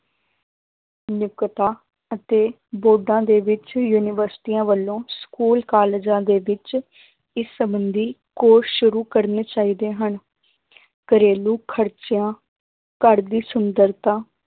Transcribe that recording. ਨੁਕਤਾ ਅਤੇ ਬੋਧਾਂ ਦੇ ਵਿੱਚ ਯੂਨੀਵਰਸਟੀਆਂ ਵੱਲੋਂ school ਕਾਲਜਾਂ ਦੇ ਵਿੱਚ ਇਸ ਸੰਬੰਧੀ course ਸ਼ੁਰੂ ਕਰਨੇ ਚਾਹੀਦੇ ਹਨ ਘਰੇਲੂ ਖ਼ਰਚਿਆਂ ਘਰ ਦੀ ਸੁੰਦਰਤਾ,